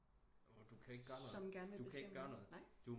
Du kan ikke du kan ikke gøre noget